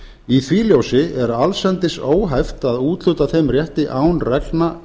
í því ljósi er allsendis óhæft að úthluta þeim rétti án reglna